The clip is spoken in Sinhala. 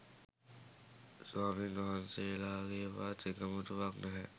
ස්වාමින් වහන්සේලගේවත් එකමුතුවක් නැහැ.